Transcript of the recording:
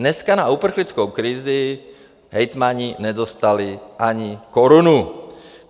Dneska na uprchlickou krizi hejtmani nedostali ani korunu.